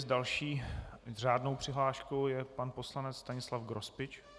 S další řádnou přihláškou je pan poslanec Stanislav Grospič.